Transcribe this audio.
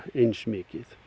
eins mikið